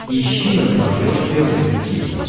ищи на смотрешке рубль ти ви